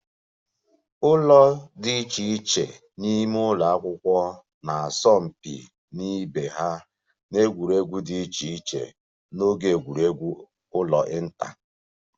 Ụlọ dị iche iche n'ime ụlọ akwụkwọ na-asọ mpi na ibe ha n'egwuregwu dị iche iche n'oge egwuregwu ụlọ inter